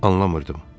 Anlamırdım.